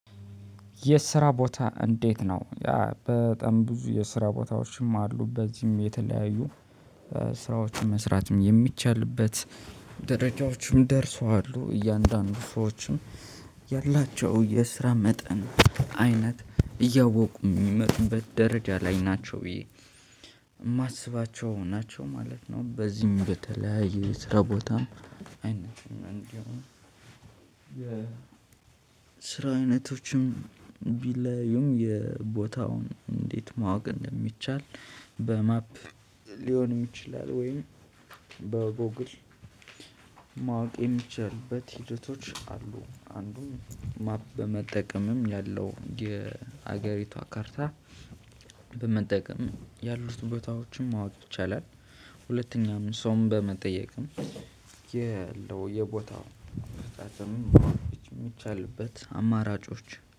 የስራ ቦታ እንዴት ነው? በጣም ብዙ የስራ ቦታዎችም አሉ በዚህም የተለያዩ ስራዎችን መስራትም የሚቻልበት ደረጃዎችም ደርሰዋል። እያንዳንዱ ሰዎችም ያላቸው የስራ መጠን አይነት እያወቁ የሚመጡበት ደረጃ ላይ ናቸው ብዬ የማስባቸው ናቸው ማለት ነው። በዚህም በተለያየ ስራ ቦታም አይነት። ስራ አይነቶችም ቢለያይም የቦታውን እንዴት ማወቅ እንደሚቻል በማፕ ሊሆንም ይችላል። ወይም በጎግል ማወቅ የሚችልበት ሂደቶች አሉ። አንዱም ማፕ በመጠቀምም ያለው የሀገሪቷ ካርታ በመጠቀም ያሉት ቦታዎችን ማወቅ ይቻላል። ሁለተኛም ሰውም በመጠየቅም ያለው የቦታው ርቀትን የሚቻልበት አማራጮች